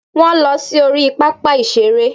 Wọ́n lọ sí orí pápá ìṣeré